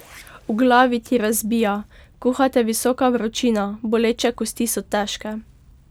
V glavi ti razbija, kuha te visoka vročina, boleče kosti so težke.